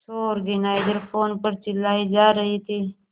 show organiser phone पर चिल्लाए जा रहे थे